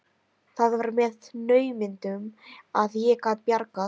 Það var með naumindum að ég gat bjargað